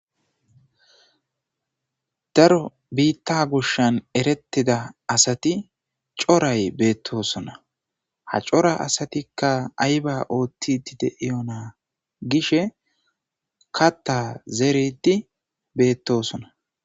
Darro bitta goshani eretida corra assati betosona ha coora assatika ayiba othidi diwuna gishin katha zerid betosona